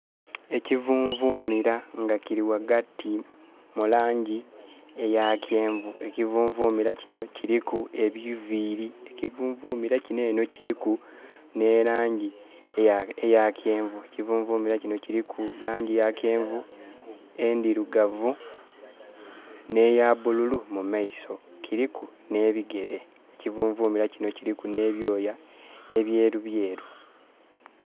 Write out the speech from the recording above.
Ekivunvumira nga kiri wagati mulangi eya kyenvu. Ekivunvumira kino kiriku ebiviri. Ekivunvumira kino eno kiriku ne langi eya kyenvu. Ekivunvumira kino kiriku langi eya kyenvu, endirugavu neya bululu mu maiso. Kiriku ne bigere. Ekivunvumira kino kiriku ne byoya ebyerubyeru